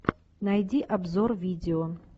найди обзор видео